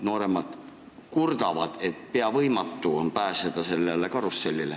Nooremad kurdavad, et peaaegu võimatu on pääseda sellele karussellile.